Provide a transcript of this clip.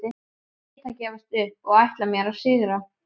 Ég neita að gefast upp og ætla mér að sigra.